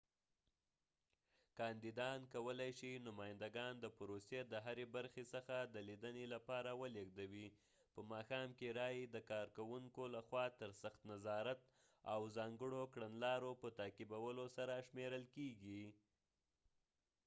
کاندیدان کولای شي نمایندګان د پروسې د هرې برخې څخه د لیدنې لپاره ولیږدوي په ماښآم کې رایې د کارکوونکو لخوا تر سخت نظارت او ځانګړو کړنلارو په تعقیبولو سره شمیرل کیږي